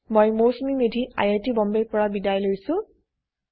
httpspoken tutorialorgNMEICT Intro মই Mousumi Medhi I I T বম্বেৰ পৰা বিদায় লৈছো